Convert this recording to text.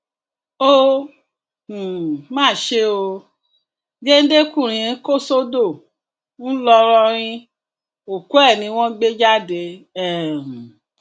ó um má ṣe ó géńdékùnrin kò sódò ńlọrọrìn òkú ẹ ni wọn gbé jáde um